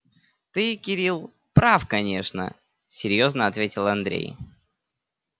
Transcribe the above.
ты кирилл прав конечно серьёзно ответил андрей